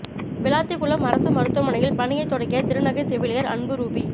விளாத்திகுளம் அரசு மருத்துவமனையில் பணியை தொடங்கிய திருநங்கை செவிலியர் அன்பு ரூபி